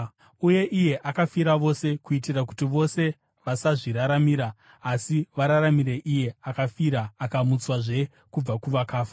Uye iye akafira vose, kuitira kuti vose vasazviraramira asi vararamire iye akavafira akamutswazve kubva kuvakafa.